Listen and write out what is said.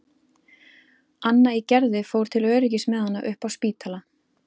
Anna í Gerði fór til öryggis með hana upp á Spítala.